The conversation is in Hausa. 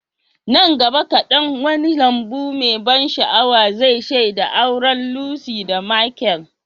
Nan gaba kadan, wani lambu mai ban sha'awa zai shaida auren Lucy da Michael.